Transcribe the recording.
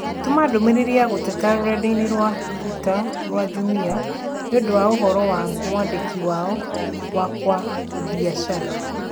Tũma ndũmĩrĩri ya gũteta rũrenda - ĩni rũa tũita rũa Jumia niũndu wa ũhoro wa mwandĩki wao wa kwa biacara